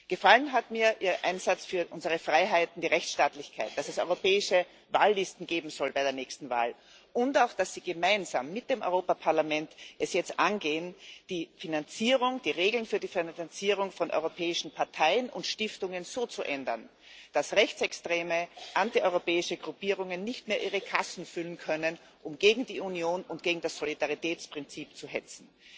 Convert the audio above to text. Gefallen hat mir Ihr Einsatz für unsere Freiheiten wie Rechtsstaatlichkeit, das es europäische Wahllisten bei der nächsten Wahl geben soll, und auch, dass Sie es gemeinsam mit dem Europäischen Parlament jetzt angehen, die Regeln für die Finanzierung von europäischen Parteien und Stiftungen so zu ändern, dass rechtsextreme, antieuropäische Gruppierungen nicht mehr ihre Kassen füllen können, um gegen die Union und gegen das Solidaritätsprinzip zu hetzen.